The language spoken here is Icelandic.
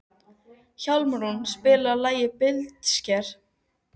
Hjálmrún, spilaðu lagið „Blindsker“.